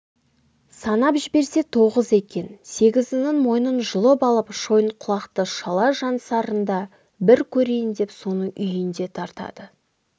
санап жіберсе тоғыз екен сегізінің мойнын жұлып алып шойынқұлақты шала-жансарында бір көрейін деп соның үйіне тартады